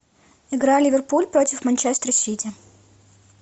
игра ливерпуль против манчестер сити